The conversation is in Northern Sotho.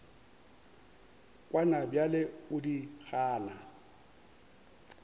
kwana bjale o di gana